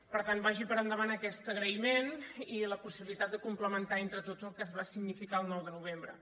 per tant vagi per endavant aquest agraïment i la possibilitat de complementar entre tots el que va significar el nou de novembre